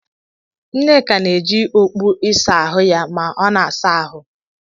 Nneka na-eji okpu ịsa ahụ ya ma ọ na-asa ahụ.